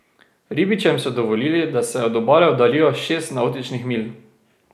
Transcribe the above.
Ribičem so dovolili, da se od obale oddaljijo šest navtičnih milj.